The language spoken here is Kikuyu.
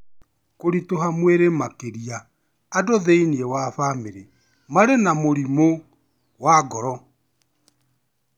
kũritũha mwĩrĩ makĩria, andũ thĩinĩ wa famĩlĩ marĩ na mũrimũ wa ngoro